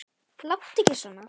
Láttu ekki svona.